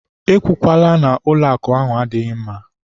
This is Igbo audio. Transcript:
E kwukwala na ụlọakụ ahụ adịghị mma!